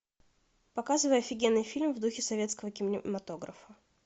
показывай офигенный фильм в духе советского кинематографа